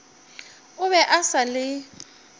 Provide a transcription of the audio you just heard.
o be a sa le